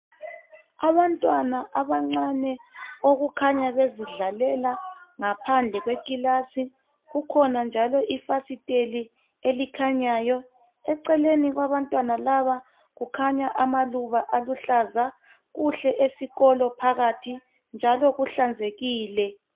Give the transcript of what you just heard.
Abantwana abancane okukhanya bezidlalela ngaphandle kwekilasi, kukhona njalo ifasiteli elikhanyayo. Eceleni kwabantwana laba kukhanya amaluba aluhlaza. Kuhle esikolo phakathi njalo kuhlanzekile.